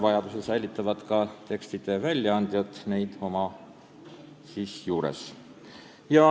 Paberkandjal säilitavad õigusaktide tekste väljaandjad enda juures.